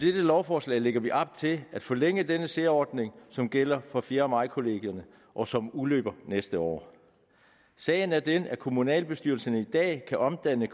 lovforslag lægger vi op til at forlænge denne særordning som gælder for fjerde maj kollegierne og som udløber næste år sagen er den at kommunalbestyrelserne i dag kan omdanne